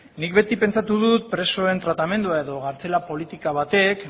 nik beti pentsatu dut presoen tratamendua edo kartzela politika batek